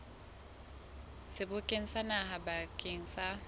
sebokeng sa naha bakeng sa